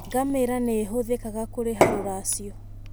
Ngamĩra nĩ ihũthĩkaga kũrĩha rũracio.